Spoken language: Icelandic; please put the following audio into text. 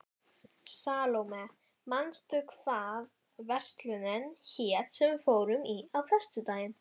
Salóme, manstu hvað verslunin hét sem við fórum í á föstudaginn?